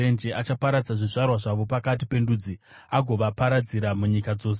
achaparadza zvizvarwa zvavo pakati pendudzi, agovaparadzira munyika dzose.